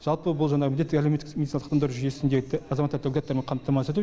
жалпы бұл жаңағы міндетті әлеуметтік медициналық сақтандыру жүйесіндегі азаматтарды дәрі дәрмекпен қамтамасыз ету